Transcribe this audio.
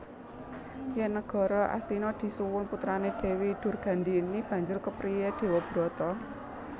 Yen Nagara Astina disuwun putrane Dewi Durgandhini banjur kepriye Dewabrata